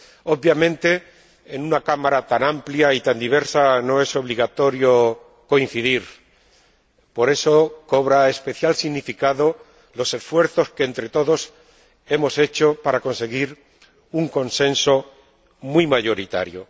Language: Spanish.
Obviamente, en una Cámara tan amplia y tan diversa no es obligatorio coincidir, por eso cobran especial significado los esfuerzos que entre todos hemos hecho para conseguir un consenso muy mayoritario.